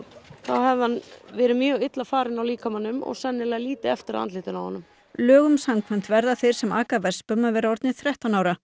þá hefði hann verið mjög illa farinn á líkamanum og sennilega lítið eftir af andlitinu á honum lögum samkvæmt verða þeir sem aka vespum að vera orðnir þrettán ára